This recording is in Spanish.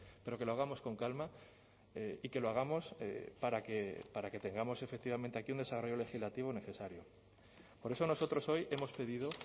pero que lo hagamos con calma y que lo hagamos para que tengamos efectivamente aquí un desarrollo legislativo necesario por eso nosotros hoy hemos pedido